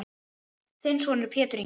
Þinn sonur Pétur Ingi.